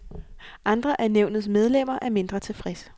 Andre af nævnets medlemmer er mindre tilfredse.